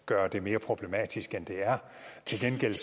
gøre det mere problematisk end det er til gengæld